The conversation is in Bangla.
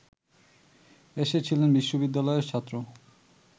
এসেছিলেন বিশ্ববিদ্যালয়ের ছাত্র